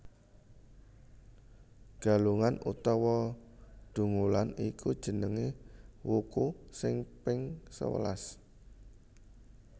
Galungan utawa Dungulan iku jenenge wuku sing ping sewelas